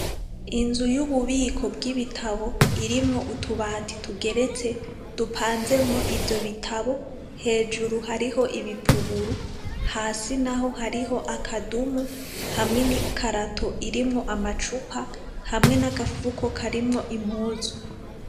Inzu y'ububiko bw'ibitabo irimwo utubabi tugeretse dupanzemwo ivyo bitabo hejuru hariho ibipuguru hasi naho hariho akadumu hamwe n'ikarato irimwo amacupa hamwe n'agafuko karimwo impuzu.